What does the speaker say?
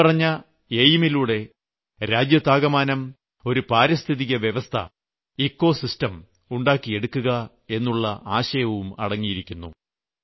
ഇപ്പറഞ്ഞ എയിം ലൂടെ രാജ്യത്താകമാനം ഒരു പാരിസ്ഥിതിക വ്യവസ്ഥ ഇക്കോ സിസ്റ്റം ഉണ്ടാക്കിയെടുക്കുക എന്നുള്ള ആശയവും അടങ്ങിയിരിക്കുന്നു